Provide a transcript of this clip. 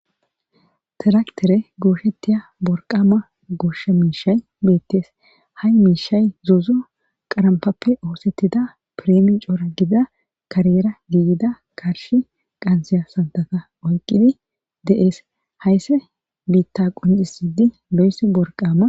tiraktere gooshettiya worqama gosha miishay beettees ha miishay zozo qarampappe oosettida piremi coora gida kariyera giigida karshi qansiya santata oyqidi de7ees haysse biitta qonjisidi lo7essi borqaama